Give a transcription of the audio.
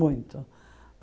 Muito.